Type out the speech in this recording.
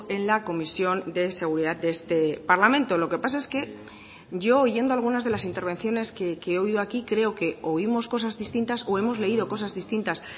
en la comisión de seguridad de este parlamento lo que pasa es que yo oyendo algunas de las intervenciones que he oído aquí creo que oímos cosas distintas o hemos leído cosas distintas